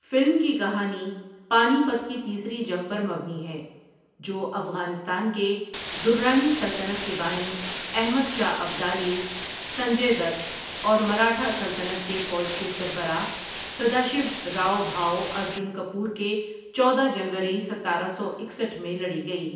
Film کی کہانی Panipat کی تیسری جنگ پر مبنی ہے ، جو افٖغانستان کے درانی سلطنت کے بانی احمد شاہ ابدالی سنجے دت اور مراٹھہ سلطنت کے فوج کے سربراہ سداشو راؤ بھاؤ اردجن کپور کے چودہ جنوری ستارہ سو اکسٹھ میں لڑی گئی۔